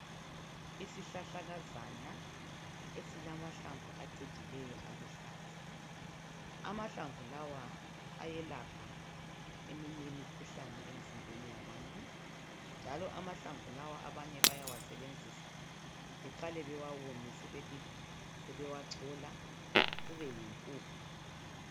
Isihlahlakazana esilamahlamvu aciijleyo aluhlaza, amahlamvu lawa ayelapha eminye imikhuhlane emzimbeni yabantu njalo amahlamvu lawa abanye bawasebenzisa beqale bewawomise besewachola kube yimpuphu.